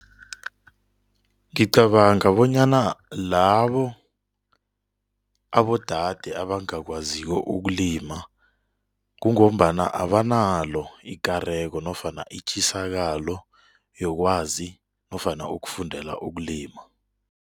Ngicabanga bonyana labo abodade abangakwaziko ukulima kungombana abanalo ikareko nofana itjisakola yokwazi nofana ukufundela ukulima.